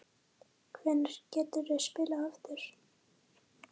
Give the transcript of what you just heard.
Hvenær geturðu spilað aftur?